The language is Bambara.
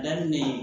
Daminɛ ye